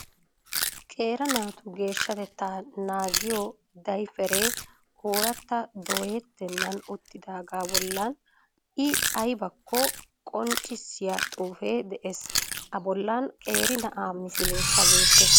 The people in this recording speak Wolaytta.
Qeera naatu geeshshatettaa naagiyi dayferee ooratta doyettennan uttidaagaa bollan I aybakko qonccissiya xuufee de'ees. A bollan qeeri na'aa misileekka beettees.